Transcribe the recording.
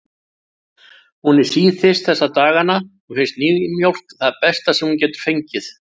Hún er síþyrst þessa dagana og finnst nýmjólk það besta sem hún getur fengið.